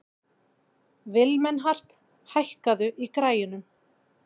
Vilmenhart, hækkaðu í græjunum.